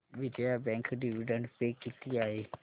Vijaya bank dividend pay किती आहे